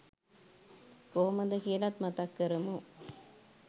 කොහොමද කියලත් මතක් කරමු?